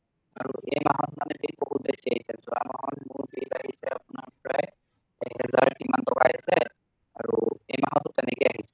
আৰু এই মাহত মানে bill বহুত বেছি আহিছে যোৱা মাহত মোৰ bill আহিছে আপোনাৰ প্ৰায়াই এক হাজাৰ কিমান টকা আহিছে আৰু এই মাহতয়ো তেনেকে আহিছে